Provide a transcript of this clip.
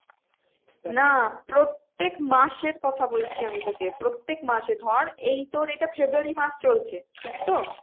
না প্রত্যেক মাসের কথা বলছি আমি তোকে প্রত্যেক মাসে ধর এই তোর এটা february মাস চলছে ঠিক তো?